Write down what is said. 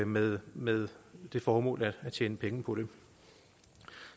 med med det formål at tjene penge på det